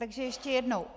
Takže ještě jednou.